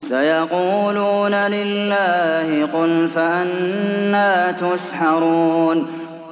سَيَقُولُونَ لِلَّهِ ۚ قُلْ فَأَنَّىٰ تُسْحَرُونَ